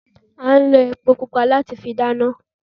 À n lo epo pupa láti fi dáná